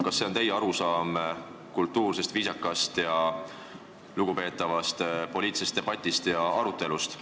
Kas see on teie arusaam kultuursest, viisakast ja lugupeetavast poliitilisest debatist ja arutelust?